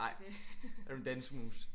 Nej er du en dansemus